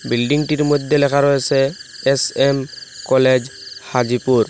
বিল্ডিংটির মধ্যে লেখা রয়েসে এস_এম কলেজ হাজিপুর।